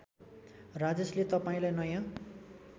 राजेशले तपाईँलाई नयाँ